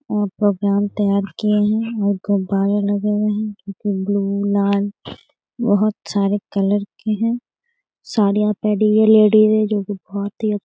और प्रोग्राम तैयार किए हैं गुब्बारे लगे हुए हैं ब्लू लाल बहुत सारे कलर के हैं साड़ियाँ पहनी हुई लेडिज हैं जो की बहुत ही --